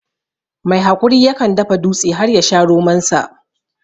Mai haƙuri ya kan dafa dutse har ya sha romon sa